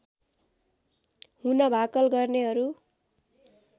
हुन भाकल गर्नेहरू